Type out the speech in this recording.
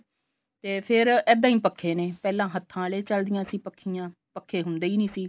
ਤੇ ਫੇਰ ਇੱਦਾਂ ਹੀ ਪੱਖੇ ਨੇ ਪਹਿਲਾਂ ਹੱਥਾਂ ਆਲੇ ਚੱਲਦੀਆਂ ਸੀ ਪੱਖੀਆਂ ਪੱਖੇ ਹੁੰਦੇ ਹੀ ਨੀ ਸੀ